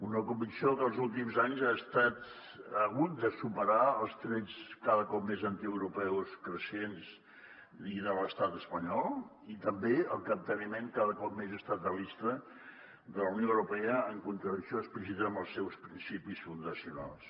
una convicció que els últims anys ha hagut de superar els trets cada cop més antieuropeus creixents i de l’estat espanyol i també el capteniment cada cop més estatalista de la unió europea en contradicció explícita amb els seus principis fundacionals